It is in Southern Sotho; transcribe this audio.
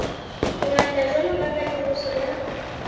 ngata jwalo ka katoloso ya